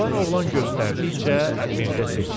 Cavan oğlan göstərdikcə Mirzə seçdi.